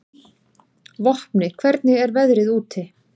Vopni, hvernig er veðrið úti?